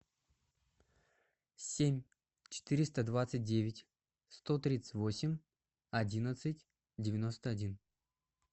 семь четыреста двадцать девять сто тридцать восемь одиннадцать девяносто один